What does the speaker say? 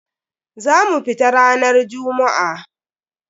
Za mu fita ranar jummu'a.